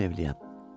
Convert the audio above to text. Dedim evliyəm.